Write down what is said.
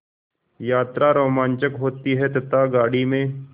यात्रा रोमांचक होती है तथा गाड़ी में